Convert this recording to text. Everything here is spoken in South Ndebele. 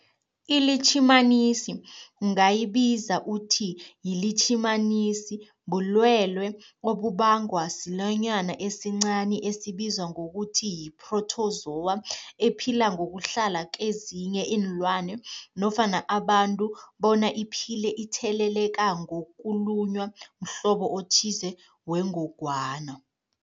ILitjhimanisi ungayibiza uthiyilitjhimanisi, bulwelwe obubangwa silwanyana esincani esibizwa ngokuthiyi-phrotozowa ephila ngokuhlala kezinye iinlwana nofana abantu bona iphile itheleleka ngokulunywa mhlobo othize wengogwana.